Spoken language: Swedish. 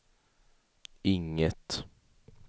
inget